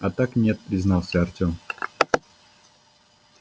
а так нет признался артём